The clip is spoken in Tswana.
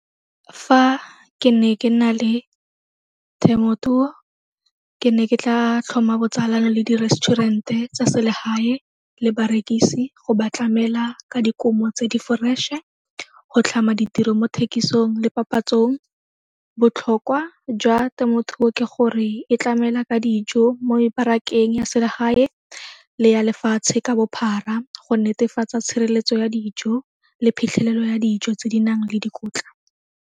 Fa ke ne ke nna le temothuo ke ne ke tlaa tlhoma botsalano le di-restaurant-e tsa selegae le barekisi go ba tlamela ka dikumo tse di fresh-e, go tlhama ditiro mo thekisong le papatsong. Botlhokwa jwa temothuo ke gore e tlamela ka dijo mo mebarakeng ya selegae le ya lefatshe ka bophara go netefatsa tshireletso ya dijo le phitlhelelo ya dijo tse di nang le dikotla.